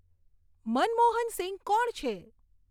મનમોહન સિંઘ કોણ છે